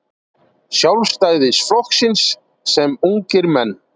Sjálfstæðisflokksins sem ungir menn.